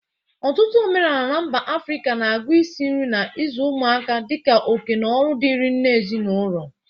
Ọtụtụ omenala na mba Afrịka na-agụ isi nri na ịzụ ụmụaka dị ka oke na ọrụ dịrị nne ezinaụlọ.